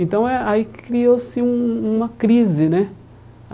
Então eh ah aí criou-se um uma crise, né?